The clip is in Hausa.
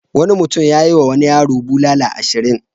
Wani mutum ya yiwa wani yaro bulala ashirin.